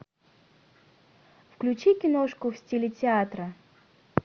включи киношку в стиле театра